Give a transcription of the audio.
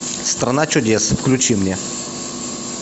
страна чудес включи мне